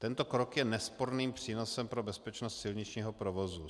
Tento krok je nesporným přínosem pro bezpečnost silničního provozu.